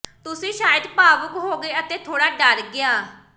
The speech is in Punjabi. ਤੁਸੀਂ ਸ਼ਾਇਦ ਭਾਵੁਕ ਹੋ ਗਏ ਅਤੇ ਥੋੜਾ ਡਰ ਗਿਆ